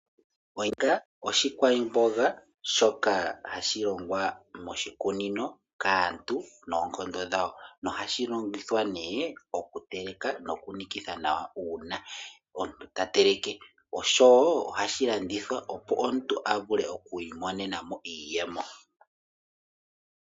Onyanga oshikwamboga shoka hashi longwa moshikunino kaantu noonkondo dhawo. Nohashi longithwa ne oku teleka noku nikitha nawa una omuntu ta tekele. Oshowo ohashi landithwa opo omuntu a monemo iiyemo.